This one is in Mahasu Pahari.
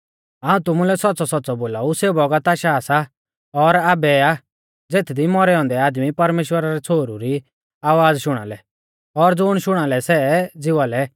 हाऊं तुमुलै सौच़्च़ौसौच़्च़ौ बोलाऊ सेऊ बौगत आशा सा और आबै आ ज़ेथदी मौरै औन्दै आदमी परमेश्‍वरा रै छ़ोहरु री आवाज़ शुणा लै और ज़ुण शुणा लै सै ज़िवा लै